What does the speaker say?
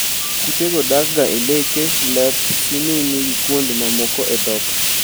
Kutego dakga e leke, lep, sininii gi kuond ma moko e dhok.